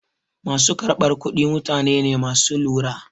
Ma su karɓar kuɗi mutane ne ma su lura.